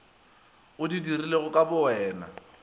o di dirilego ka bowena